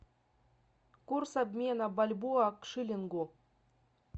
курс обмена бальбоа к шиллингу